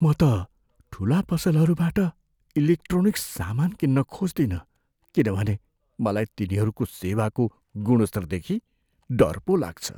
म त ठुला पसलहरूबाट इलेक्ट्रोनिक्स सामान किन्न खोज्दिनँ किनभने मलाई तिनीहरूको सेवाको गुणस्तरदेखि डर पो लाग्छ।